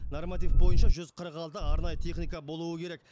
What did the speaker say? норматив бойынша жүз қырық алты арнайы техника болуы керек